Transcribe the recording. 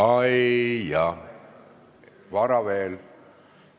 Ai jahh, vara veel!